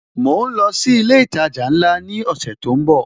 Mo ń lọ sí ilé ìtajà ńlá ni ọ̀sẹ̀ tó ń bò